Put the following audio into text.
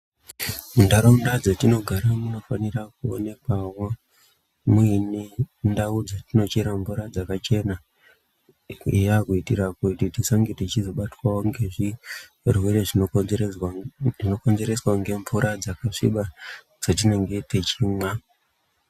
Ntaraunda dzatinogara munofanira kuonekwawo muine ndau dzatinochera mvura dzakachena eya. Kuitira kuti tisange tichizobatwawo ngezvirwere zvinokonzereswa ngemvura dzakasviba dzatinenge techimwa.